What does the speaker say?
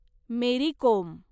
मेरी कोम